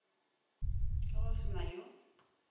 ge go se na yo